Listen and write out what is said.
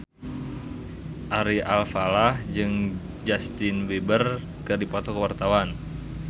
Ari Alfalah jeung Justin Beiber keur dipoto ku wartawan